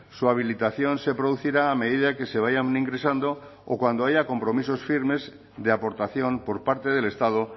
su habilitación se producirá a medida que se vayan ingresando o cuando haya compromisos firmes de aportación por parte del estado